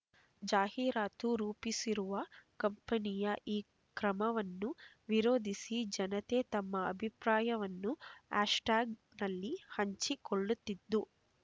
ಜಾಹೀರಾತು ರೂಪಿಸಿರುವ ಕಂಪನಿಯ ಈ ಕ್ರಮವನ್ನು ವಿರೋಧಿಸಿ ಜನತೆ ತಮ್ಮ ಅಭಿಪ್ರಾಯವನ್ನು ಆಶ್ ಟ್ಯಾಗ್‌ನಲ್ಲಿ ಹಂಚಿಕೊಳ್ಳುತ್ತಿದ್ದು